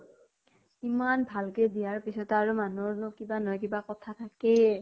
ইমান ভাল কে দিয়াৰ পিছতো আৰু মানুহৰনো কিবা নহয় কিবা কথা থাকেই